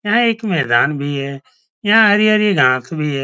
यहाँ एक मैदान भी है। यहाँ हरी - हरी घास भी है।